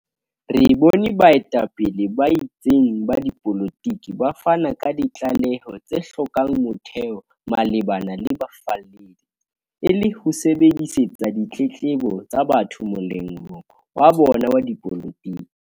Re bone baetapele ba itseng ba dipolotiki ba fana ka ditlaleho tse hlokang motheo malebana le bafalledi, e le ho sebedisetsa ditletlebo tsa batho molemong wa bona wa dipolotiki.